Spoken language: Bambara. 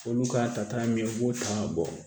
Olu ka ta min u b'o ta ka bɔ